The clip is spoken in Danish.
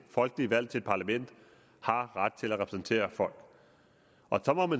folkeligt valgt til et parlament har ret til at repræsentere folk